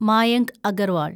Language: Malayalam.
മായങ്ക് അഗർവാൾ